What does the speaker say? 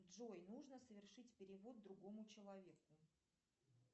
джой нужно совершить перевод другому человеку